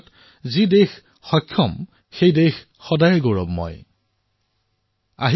অৰ্থাৎ যি দেশ ফিট হৈ থাকে সেই দেশ সদায়েই হিট হৈও থাকিব